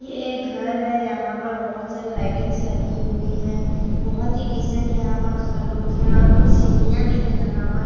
ये एक घर है। यहां पर बहुत सारी लाइटिंगस लगी हुई है। बहुत ही डीसेंट यहां पर उसका लुक है और कुछ सीढ़ियां भी है यहां पर --